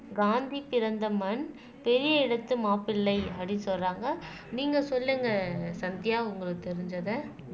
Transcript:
காந்தி பிறந்த மண் பெரிய இடத்து மாப்பிள்ளை அப்படின்னு சொல்றாங்க நீங்க சொல்லுங்க சந்தியா உங்களுக்கு தெரிஞ்சதை